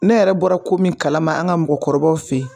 Ne yɛrɛ bɔra ko min kalama an ka mɔgɔkɔrɔbaw fɛ yen